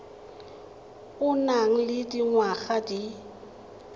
o nang le dingwaga di